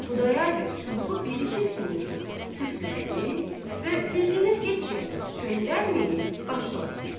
Xudayar bəy çubuğu bir-iki sümürüb, püflədi və üzünü heç yana çöndərməyib başladı: